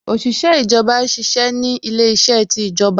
Òṣìṣẹ́ ìjọba ṣiṣẹ́ ni ilé iṣẹ́ ti ìjọba